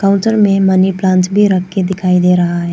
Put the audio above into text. Counter में money plant भी रख के दिखाई दे रहा है।